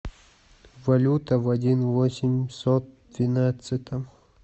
валюта в один восемьсот двенадцатом